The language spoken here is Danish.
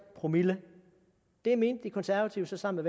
promille det mente de konservative sammen